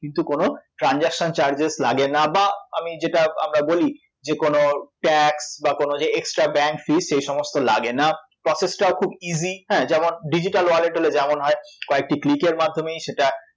কিন্তু কোনো transaction charges লাগে না বা আমি যেটা আমরা বলি যে কোনো tax বা কোনো ectra bank fees সেইসমস্ত লাগে না process টাও খুব easy হ্যাঁ যেমন digital wallet হলে যেমন হয় কয়েকটি click এর মাধ্যমেই সেটা